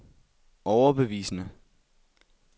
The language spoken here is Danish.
overbevisende